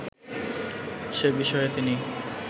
সে বিষয়ে তিনি